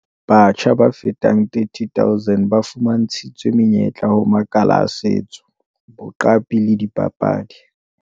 Batjha ba fetang 30 000 ba fuma ntshitswe menyetla ho makala a setso, boqapi le dipapadi.